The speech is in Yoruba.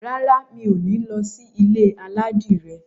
Rárá, mi ò ní lọ sí ilé aládìrẹ.